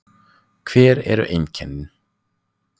Hver eru einkennin?